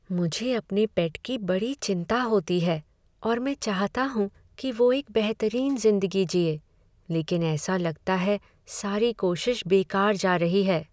मुझे अपने पेट की बड़ी चिंता होती है और मैं चाहता हूँ कि वो एक बेहतरीन ज़िंदगी जिए, लेकिन ऐसा लगता है सारी कोशिश बेकार जा रही है।